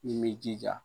Min b'i jija